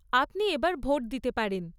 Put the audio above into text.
আপনি এবার ভোট দিতে পারেন।